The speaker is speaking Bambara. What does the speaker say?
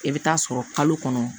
I bɛ taa sɔrɔ kalo kɔnɔ